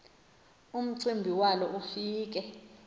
umcimbi walo ufike